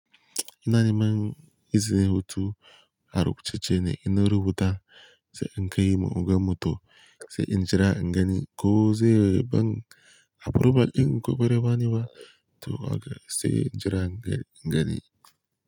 Ina neman izinin hutu arubu ce ce ne ina rubuta, sai in kai ma ogan mu to sai in jira ingani ko zai ba ni aproval din ko bare bani ba to haka sai in jira ingani.